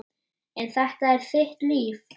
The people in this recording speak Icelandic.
En þetta er þitt líf.